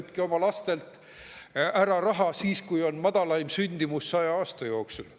Võtke oma lastelt raha ära, siis kui on madalaim sündimus 100 aasta jooksul.